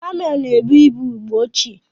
Kameelụ na-ebu ibu mgbe ochie.